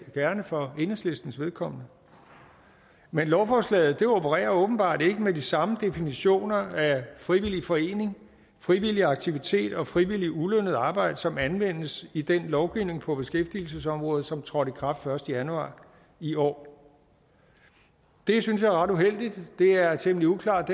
gerne for enhedslistens vedkommende men lovforslaget opererer åbenbart ikke med de samme definitioner af frivillig forening frivillig aktivitet og frivilligt ulønnet arbejde som anvendes i den lovgivning på beskæftigelsesområdet som trådte i kraft den første januar i år det synes jeg er ret uheldigt det er temmelig uklart